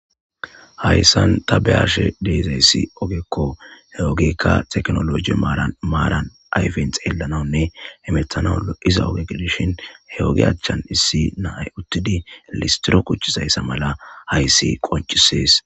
Haysan ta be'ashe dizaysi ogeko ha ogeyka tekinoloje maran ayfen xelanawnne hemetanaw lo'iza oge gidishin he ogiya achan issi na'ay utidi listro quc'izaysa mala haysi qonc'ses.